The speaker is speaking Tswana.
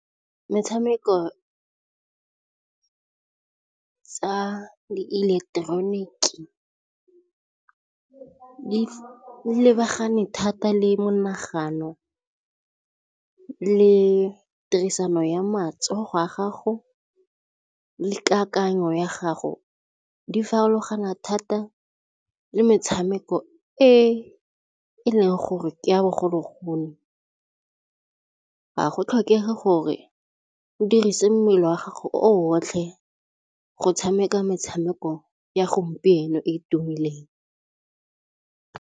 Metshameko tsa dieleketeroniki di lebagane thata le monagano le tirisano ya matsogo a gago le kakanyo ya gago. Di farologana thata le metshameko e e leng gore ya bogologolo ga go tlhokege gore o dirise mmele wa gago otlhe go tshameka metshameko ya gompieno e e tumileng.